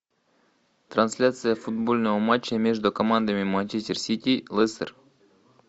трансляция футбольного матча между командами манчестер сити лестер